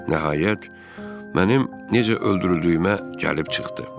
Nəhayət, mənim necə öldürüldüyümə gəlib çıxdı.